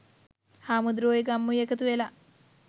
හාමුදුරුවොයි ගම්මුයි එකතුවෙලා